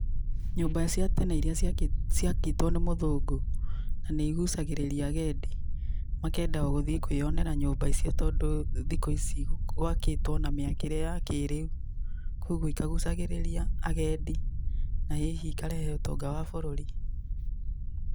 Nyũmba cia tene irĩa ciakĩtwo nĩ mũthũngũ nĩ igucagĩrĩria agendi makenda o gũthiĩ kwĩyonera nyũmba icio tondũ thikũ ici gwakĩtwo na mĩakĩre ya kĩrĩu. Kũguo ikagucagĩrĩria agendi. Na hihi ikarehe ũtonga wa bũrũri.